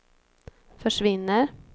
försvinner